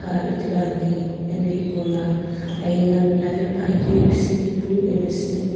aa ithuluani ena hipaula aiyi na mlave puakeu sunhepu ena sunhep--